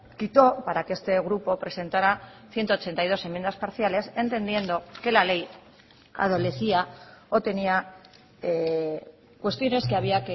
quitó para que este grupo presentara ciento ochenta y dos enmiendas parciales entendiendo que la ley adolecía o tenía cuestiones que había